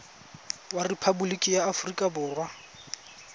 wa rephaboliki ya aforika borwa